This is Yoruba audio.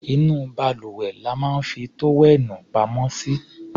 Inú balùwẹ̀ la máa ń fi tówẹ́ẹ̀nù pamọ́ sí.